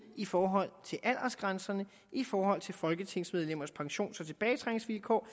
i forhold og i forhold til folketingsmedlemmers pensions og tilbagetrækningsvilkår